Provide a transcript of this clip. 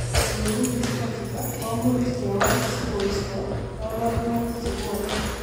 Ole meng'isto chito komuch kewal sikoisto kabarunoik chebwoni